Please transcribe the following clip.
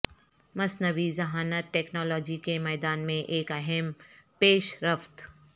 مصنوعی ذہانت ٹیکنالوجی کے میدان میں ایک اہم پیش رفت